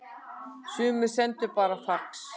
Sumir sendu bara fax